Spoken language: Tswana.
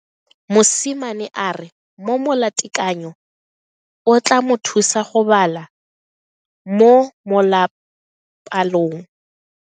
Mosimane a re mo molatekanyo o tla mo thusa go bala mo molapalong.